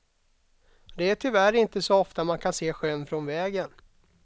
Det är tyvärr inte så ofta man kan se sjön från vägen.